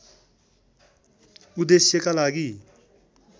उद्देश्यका लागि